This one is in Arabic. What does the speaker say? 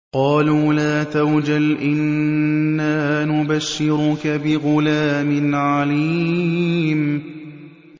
قَالُوا لَا تَوْجَلْ إِنَّا نُبَشِّرُكَ بِغُلَامٍ عَلِيمٍ